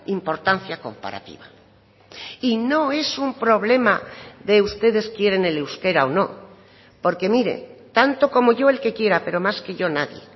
importancia comparativa y no es un problema de ustedes quieren el euskera o no porque mire tanto como yo el que quiera pero más que yo nadie